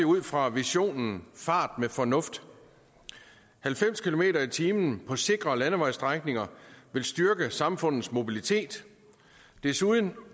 ud fra visionen fart med fornuft halvfems kilometer per time på sikre landevejsstrækninger vil styrke samfundets mobilitet desuden